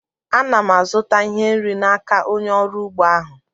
A na m azụta ihe nri n'aka onye ọrụ ugbo ahụ